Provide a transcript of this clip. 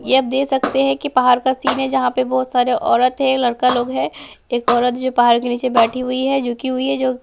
ये आप देख सकते हैं कि पहाड़ का सीन है जहां पे बहुत सारे औरत है लड़का लोग है एक औरत जो पहाड़ के नीचे बैठी हुई है झुकी हुई है जो।